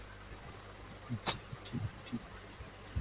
আচ্ছা আচ্ছা, ঠিক আছে, ঠিক আছে।